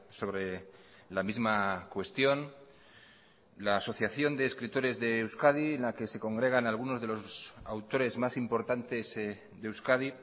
sobre la misma cuestión la asociación de escritores de euskadi en la que se congregan algunos de los autores más importantes de euskadi